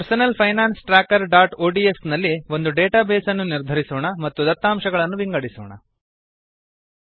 personal finance trackerಒಡಿಎಸ್ ನಲ್ಲಿ ಒಂದು ಡೇಟಾ ಬೇಸ್ ಅನ್ನು ನಿರ್ಧರಿಸೋಣ ಮತ್ತು ದತ್ತಾಂಶಗಳನ್ನು ವಿಂಗಡಿಸೋಣಸಾರ್ಟ್